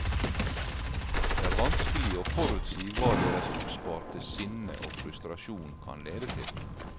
Det er vanskelig å forutsi hva deres oppsparte sinne og frustrasjon kan lede til.